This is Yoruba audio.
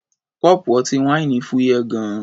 Kọ́ọ̀pù ọtí wáìnì fúyẹ́ gan-an.